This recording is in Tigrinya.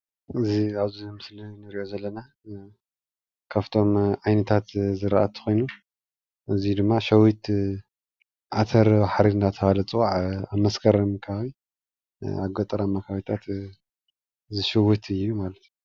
እዚ ኣብዚ ምስሊ ንርእዮ ዘለና ካፍቶም ዓይነታት ዘራእቲ ኮይኑ እዚ ድማ ሸዊት ዓተርባሕሪ እንዳተባህለ ዝፅዋዕ ኣብ መስከረም ከባቢ ኣብ ገጠራማ ከባቢታት ዝሽውት እዩ ማለት እዩ።